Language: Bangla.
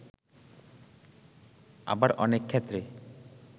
আবার অনেক ক্ষেত্রে